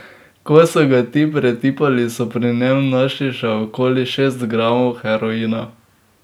Ko so ga ti pretipali, so pri njem našli še okoli šest gramov heroina.